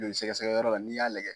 Joli sɛgɛsɛgɛ yɔrɔ la n'i y'a lajɛ